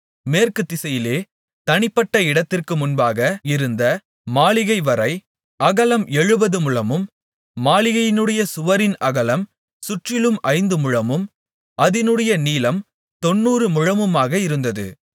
மேற்கு திசையிலே தனிப்பட்ட இடத்திற்கு முன்பாக இருந்த மாளிகைவரை அகலம் எழுபது முழமும் மாளிகையினுடைய சுவரின் அகலம் சுற்றிலும் ஐந்துமுழமும் அதினுடைய நீளம் தொண்ணூறு முழமுமாக இருந்தது